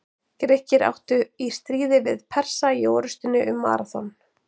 Grikkir áttu þá í stríði við Persa í orrustunni um Maraþon.